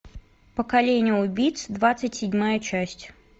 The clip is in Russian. поколение убийц двадцать седьмая часть